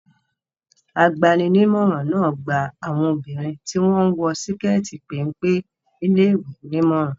Agbani-nímọ̀ràn náà gba àwọn obìnrin tí wọ́n ń wọ síkẹ́tì péńpé níléèwé nímọ̀ràn.